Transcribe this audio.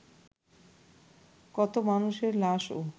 কত মানুষের লাশও